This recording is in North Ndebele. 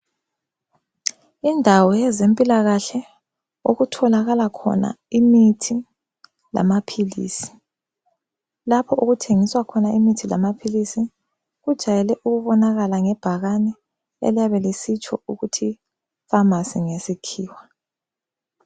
Indawo yezempilakahle okutholakala khona imithi lamaphilisi. Lapho okuthengiswa khona imithi lamaphilisi kujwayele ukubonakala ngebhakane eliyabe lisitsho ukuthi famasi ngesikhiwa.